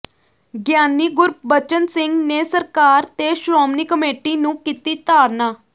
ਗਿਆਨੀ ਗੁਰਬਚਨ ਸਿੰਘ ਨੇ ਸਰਕਾਰ ਤੇ ਸ਼੍ਰੋਮਣੀ ਕਮੇਟੀ ਨੂੰ ਕੀਤੀ ਤਾੜਨਾ